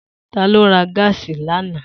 Ta ló ra gáàsì lánàá?